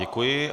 Děkuji.